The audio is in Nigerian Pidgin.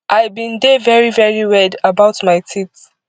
i bin dey very very weird about my teeth